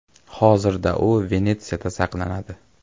Hozirda u Venetsiyada saqlanadi.